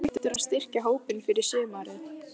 Ertu hættur að styrkja hópinn fyrir sumarið?